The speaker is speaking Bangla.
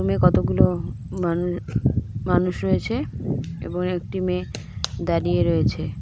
রুমে কতগুলো মানু- মানুষ রয়েছে এবং একটি মেয়ে দাঁড়িয়ে রয়েছে.